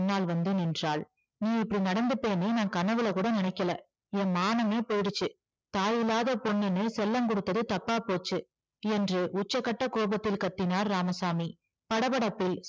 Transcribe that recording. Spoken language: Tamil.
பின்னால் வந்து நின்றாள் நீ இப்படி நடந்துப்பேன்னு கனவுல கூட நினைக்கல என் மானமே போயிருச்சு தாயில்லாத பொண்ணுன்னு செல்லம் கொடுத்தது தப்பா போச்சு என்று உச்சகட்ட கோபத்தில் கத்தினார் இராமசாமி படபடப்பில்